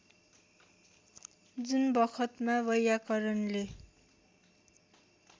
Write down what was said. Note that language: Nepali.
जुन बखतमा वैयाकरणले